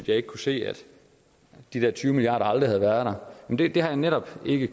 jeg ikke kunne se at de der tyve milliard kroner aldrig havde været der men det har jeg netop ikke